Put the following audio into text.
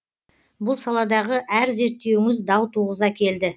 бұл саладағы әр зерттеуіңіз дау туғыза келді